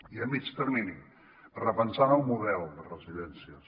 i a mitjà termini repensant el model de residències